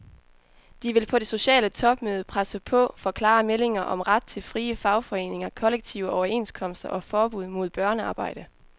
De vil på det sociale topmøde presse på for klare meldinger om ret til frie fagforeninger, kollektive overenskomster og forbud mod børnearbejde.